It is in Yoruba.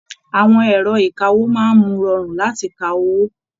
Àwọn ẹrọ ìkáwó máa mú rọrun láti kà owó.